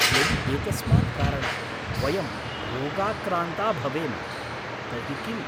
यदि एतस्मात् कारणात् वयं रोगाक्रान्ता भवेम तर्हि किम्?